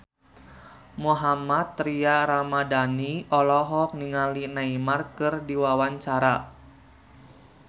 Mohammad Tria Ramadhani olohok ningali Neymar keur diwawancara